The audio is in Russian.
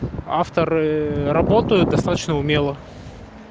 авторы работают достаточно умело